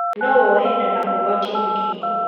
No wohe nda na ũgwatio mũkingo